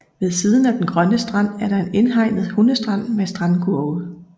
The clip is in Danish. Ved siden af den grønne strand er der en indhegnet hundestrand med strandkurve